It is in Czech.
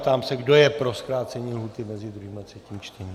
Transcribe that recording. Ptám se, kdo je pro zkrácení lhůty mezi druhým a třetím čtením.